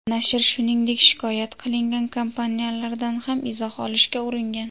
Nashr, shuningdek shikoyat qilingan kompaniyalardan ham izoh olishga uringan.